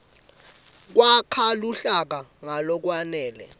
kwakha luhlaka ngalokwenele